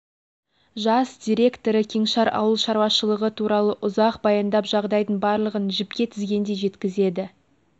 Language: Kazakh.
жас директоры кеңшар шаруашылығы туралы ұзақ баяндап жағдайдың барлығын жіпке тізгендей жеткізеді